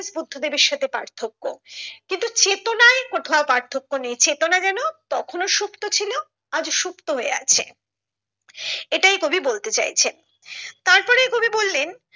বুদ্ধদেবের সাথে পার্থক্য কিন্তু চেতনায় কোথাও পার্থক্য নেই চেতনা যেন তখন সুপ্ত ছিল আজ ও সুপ্ত হয়ে আছে এটাই কবি বলতে চাইছেন তার পরে কবি বললেন।